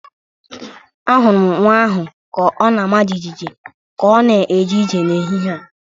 Ahụrụ m nwa ahụ ka ọ na-ama jijiji ka ọ na-eje ije n’ehihie a.